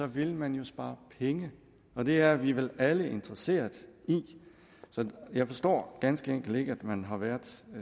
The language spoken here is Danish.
vil man jo spare penge og det er vi vel alle interesserede i jeg forstår ganske enkelt ikke at man har været